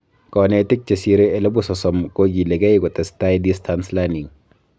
Konetik chesirei elebu sosom kokiligei kotestai distance learning